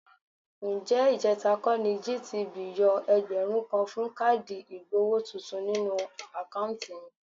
Ǹjẹ́ ìjẹ̀ta kọ́ ni GTB yọ ẹgbẹ̀rún kan fún káàdì ìgbowó tuntun nínú àkáùntì mi?